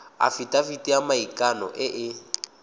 afitafiti ya maikano e e